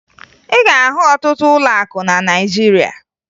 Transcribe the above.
Ị ga-ahụ ọtụtụ ụlọakụ na Naịjirịa